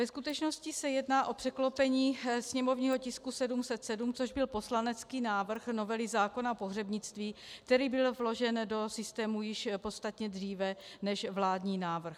Ve skutečnosti se jedná o překlopení sněmovního tisku 707, což byl poslanecký návrh novely zákona o pohřebnictví, který byl vložen do systému již podstatně dříve než vládní návrh.